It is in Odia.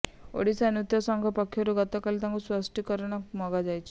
ଓଡ଼ିଶା ନାଟ୍ୟ ସଂଘ ପକ୍ଷରୁ ଗତକାଲି ତାଙ୍କୁ ସ୍ପଷ୍ଟୀକରଣ ମଗାଯାଇଛି